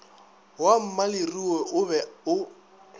wa mmaleruo o be o